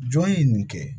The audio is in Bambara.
Jɔn ye nin kɛ